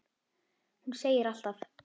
Hún segir allt.